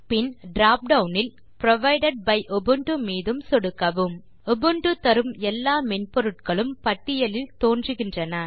பின் drop down இல் provided by Ubuntu மீதும் சொடுக்கவும் உபுண்டு தரும் எல்லா மென்பொருட்களும் பட்டியலில் தோன்றுகின்றன